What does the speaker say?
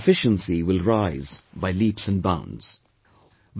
Your overall efficiency will rise by leaps and bounds